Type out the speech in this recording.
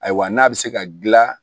Ayiwa n'a bɛ se ka gila